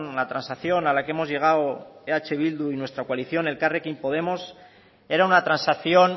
la transacción a la que hemos llegado eh bildu y nuestra coalición elkarrekin podemos era una transacción